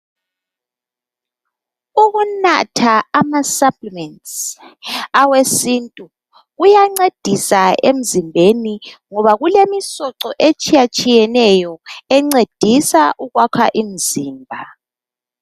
Ukunatha amasaplimentsi, awesintu, kuyancedisa emzimbeni, ngoba kulemisoco etshiyatshiyeneyo encedisa ukwakha imzimba.